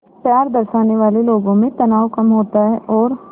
प्यार दर्शाने वाले लोगों में तनाव कम होता है और